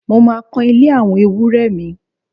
Mo máa kan ilé àwọn ewúrẹ́ mi